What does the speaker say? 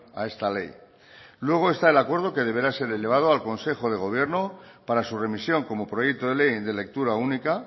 a esta ley luego está el acuerdo que deberá ser elevado al consejo de gobierno para su remisión como proyecto de ley de lectura única